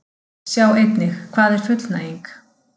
Sjá einnig: Hvað er fullnæging?